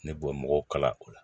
Ne bɔ mɔgɔw kala o la